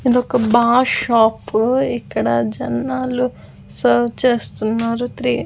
ఇది ఒక bar shop ఇక్కడ జనాలు సర్వ్ చేస్తున్నారు త్రీ .